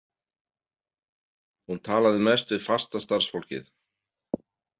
Hún talaði mest við fasta starfsfólkið.